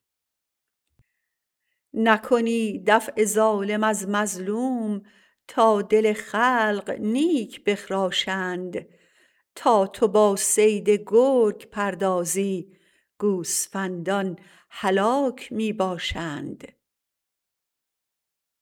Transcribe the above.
نکنی دفع ظالم از مظلوم تا دل خلق نیک بخراشند تا تو با صید گرگ پردازی گوسفندان هلاک می باشند